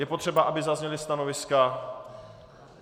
Je potřeba, aby zazněla stanoviska?